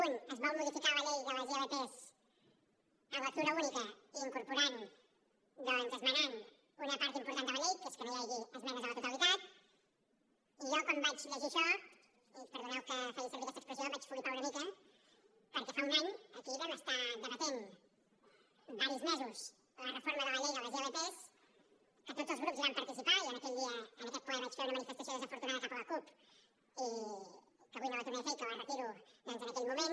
un es vol modificar la llei de les ilp en lectura única incorporant doncs esmenant una part important de la llei que és que no hi hagi esmenes a la totalitat i jo quan vaig llegir això i perdoneu que faci servir aquesta expressió vaig flipar una mica perquè fa un any aquí hi vam estar debatent diversos mesos la reforma de la llei de les ilp que tots els grups hi van participar i jo aquell dia en aquell ple vaig fer una manifestació desencertada cap a la cup i que avui no la tornaré a fer i que la retiro doncs en aquell moment